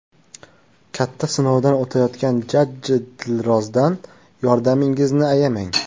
Katta sinovdan o‘tayotgan jajji Dilrozdan yordamingizni ayamang.